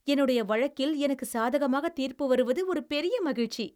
என்னுடைய வழக்கில் எனக்கு சாதகமாக தீர்ப்பு வருவது ஒரு பெரிய மகிழ்ச்சி.